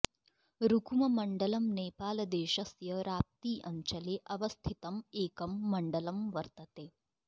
रुकुममण्डलम् नेपालदेशस्य राप्ती अञ्चले अवस्थितं एकं मण्डलं वर्तते